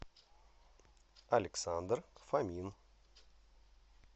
александр фомин